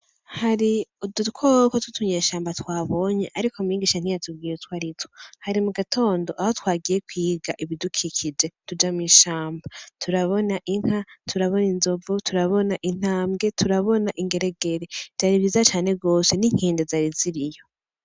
Hari udukoko twutunyeshamba twabonye ariko mwigisha ntiyatubwiye utwari two, hari mugatondo aho twagiye kwiga ibidukikije, tuja mw'ishamba turabona inka, turabona inzovu, turabona intambwe, turabona ingeregere, vyari vyiza cane gose, n'inkende zari ziriyo.